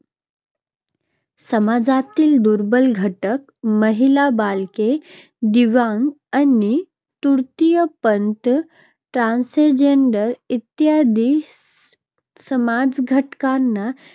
समाजातील दुर्बल घटक, महिला, बालके, दिव्यांग आणि तृतीयपंथी transgender इत्यादी समाजघटकांना